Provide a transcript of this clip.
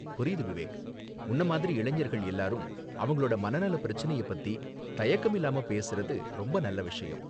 புரியுது விவேக், உன்ன மாதிரி, இளைஞர்கள் எல்லாரும் அவங்களோட மனநல பிரச்சனைய பத்தி தயக்கம் இல்லாம பேசுறது ரொம்ப நல்ல விஷயம்.